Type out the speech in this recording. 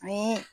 Ni